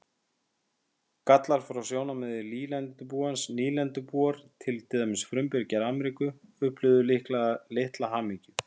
Gallar frá sjónarmiði nýlendubúans Nýlendubúar, til dæmis frumbyggjar Ameríku, upplifðu líklega litla hamingju.